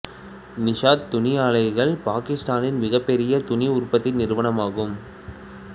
நிஷாத் துணி ஆலைகள் பாகிஸ்தானின் மிகப்பெரிய துணி உற்பத்தி நிறுவனம் ஆகும்